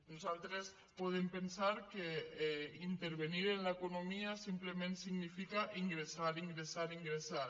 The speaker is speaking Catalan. nosaltres podem pensar que intervenir en l’economia simplement significa ingressar ingressar ingressar